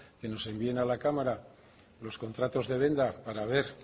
que nos envíen a la cámara los contratos de deuda para ver